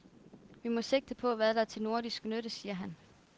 Vi må sigte på, hvad der er til nordisk nytte, siger han.